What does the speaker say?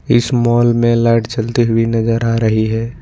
इस मॉल में लाइट जलती हुई नजर आ रही है।